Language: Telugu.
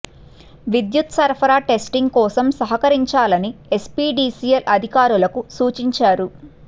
విద్యుత్ సరఫరా టెస్టింగ్ కోసం సహకరించాలని ఎస్పీ డిసిఎల్ అధికారులకు సూచించారు